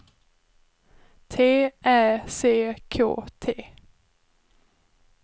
T Ä C K T